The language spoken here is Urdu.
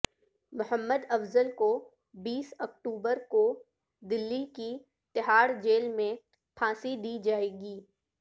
محمد افضل کو بیس اکتوبر کو دلی کی تہاڑ جیل میں پھانسی دی جائےگی